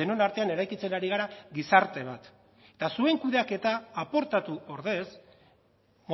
denon artean eraikitzen ari gara gizarte bat eta zuen kudeaketa aportatu ordez